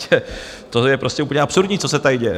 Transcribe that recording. To je prostě úplně absurdní, co se tady děje.